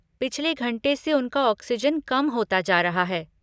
पिछले घंटे से उनका ऑक्सिजन कम होता जा रहा है।